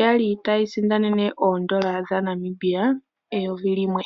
ya li tayi isindanene oodola dhaNamibia eyovi limwe.